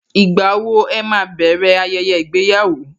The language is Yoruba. Ìgbà wo ẹ máa bẹ̀rẹ̀ ayẹyẹ ìgbéyàwó?